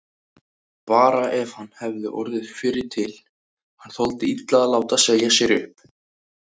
Bara ef hann hefði orðið fyrri til, hann þoldi illa að láta segja sér upp.